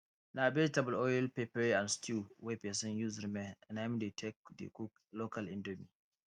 na vegetable oil pepper and stew wey pesin use remain na im dey take dey cook local indomie